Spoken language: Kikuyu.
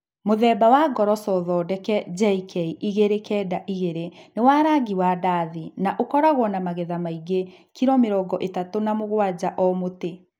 Mũthemba wa ngoroco thondeke JK292 nĩ wa rangi wa ndathi na ũkoragwo na magetha maingĩ (kilo mĩrongo ĩtatu na mũgwanja o mũtĩ).